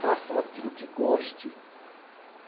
Façam aquilo que goste.